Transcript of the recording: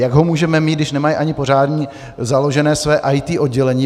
Jak ho můžeme mít, když nemají ani pořádně založené své IT oddělení?